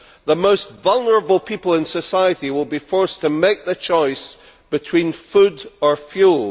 The most vulnerable people in society will be forced to make the choice between food or fuel.